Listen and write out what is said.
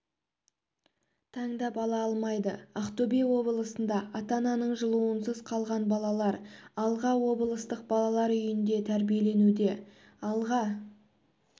таңдап ала алмайды ақтөбе облысында ата-ананың жылуынсыз қалған балалар алға облыстық балалар үйінде тәрбиеленуде алға